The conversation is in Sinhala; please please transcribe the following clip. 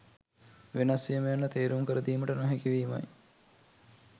වෙනස්වීම යන්න තේරුම් කර දීමට නොහැකි වීමයි